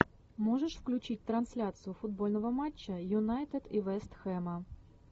можешь включить трансляцию футбольного матча юнайтед и вест хэма